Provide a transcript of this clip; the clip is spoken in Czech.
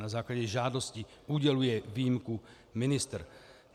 Na základě žádosti uděluje výjimku ministr.